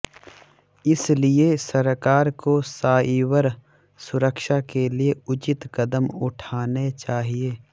इसलिए सरकार को साइबर सुरक्षा के लिए उचित कदम उठाने चाहिए